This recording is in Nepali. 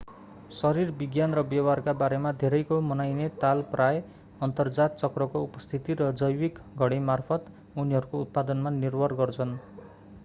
शरीरविज्ञान र व्यवहारका बारेमा धेरैको मनाइने ताल प्राय: अन्तरजात चक्रको उपस्थिति र जैविक घडीकामार्फत उनीहरूको उत्पादनमा निर्भर गर्छन्‌।